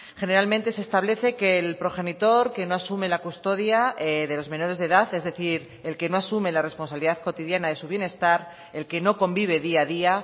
generalmente se establece que el progenitor que no asume la custodia de los menores de edad es decir el que no asume la responsabilidad cotidiana de su bienestar el que no convive día a día